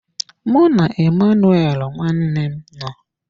Mụ na Emmanuel nwanne m nọ.